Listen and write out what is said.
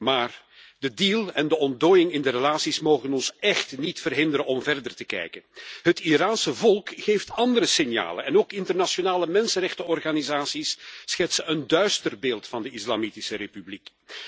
Maar het akkoord en de ontdooiing in de betrekkingen mogen ons echt niet verhinderen om verder te kijken. Het Iraanse volk geeft andere signalen en ook internationale mensenrechtenorganisaties schetsen een duister beeld van de Islamitische Republiek.